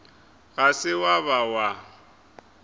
ga se wa ba wa